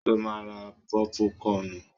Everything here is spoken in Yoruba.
Ṣo ma ra pọ́púkọnù?